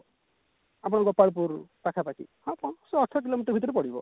ଆପଣ ଗୋପାଳପୁର ପାଖାପାଖି ହଁ ତ ସେଇ ଅଠର କିଲୋମିଟର ଭିତରେ ପଡିବ